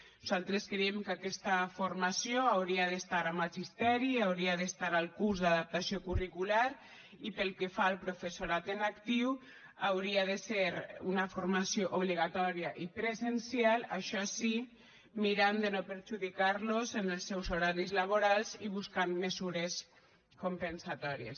nosaltres creiem que aquesta formació hauria d’estar a magisteri i hauria d’estar al curs d’adaptació curricular i pel que fa al professorat en actiu hauria de ser una formació obligatòria i presencial això sí mirant de no perjudicar los en els seus horaris laborals i buscant mesures compensatòries